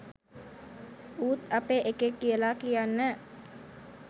ඌත් අපේ එකෙක් කියලා කියන්න